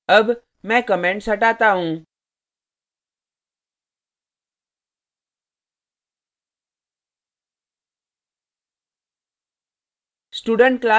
अब मैं comments हटाता हूँ